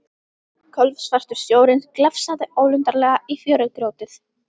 Kolsvartur sjórinn glefsaði ólundarlega í fjörugrjótið.